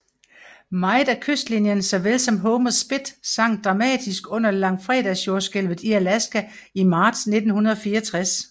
Meget af kystlinjen så vel som Homer Spit sank dramatisk under langfredagsjordskælvet i Alaska i marts 1964